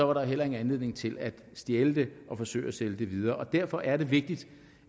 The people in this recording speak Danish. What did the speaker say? var der heller ingen anledning til at stjæle det og forsøge at sælge det videre derfor er det vigtigt